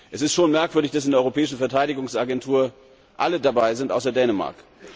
Es ist schon merkwürdig, dass in der Europäischen Verteidigungs Agentur alle dabei sind außer Dänemark.